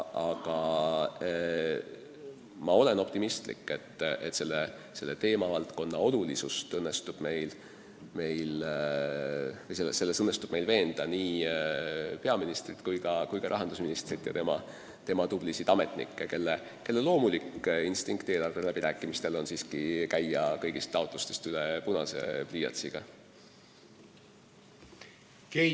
Aga ma olen optimistlik, et selle teemavaldkonna olulisuses õnnestub meil veenda nii peaministrit kui ka rahandusministrit ja tema tublisid alluvaid, kelle loomulik instinkt eelarveläbirääkimistel on kõigist taotlustest punase pliiatsiga üle käia.